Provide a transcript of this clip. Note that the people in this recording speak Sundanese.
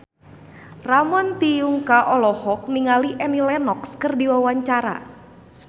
Ramon T. Yungka olohok ningali Annie Lenox keur diwawancara